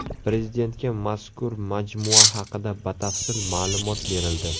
Prezidentga mazkur majmua haqida batafsil ma’lumot berildi.